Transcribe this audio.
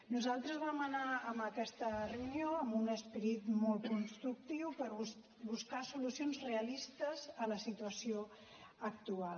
nosaltres vam anar a aquesta reunió amb un esperit molt constructiu per buscar solucions realistes a la situació actual